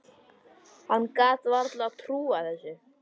Hann gat varla trúað þessu.